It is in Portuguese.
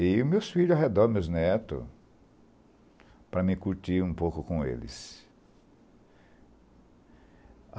E meus filhos ao redor, meus netos, para mim curtir um pouco com eles.